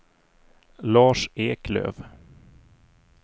Lars Eklöf